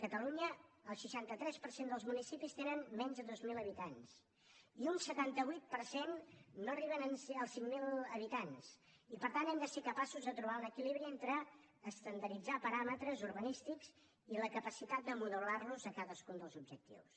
a catalunya el seixanta tres per cent dels municipis tenen menys de dos mil habitants i un setanta vuit per cent no arriben als cinc mil habitants i per tant hem de ser capaços de trobar un equilibri entre estandarditzar paràmetres urbanístics i la capacitat de modelarlos a cadascun dels objectius